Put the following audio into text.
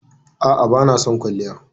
A'a bana son kwalliya.